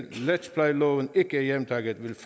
retsplejeloven ikke er hjemtaget vil